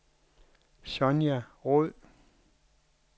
Sonja Roed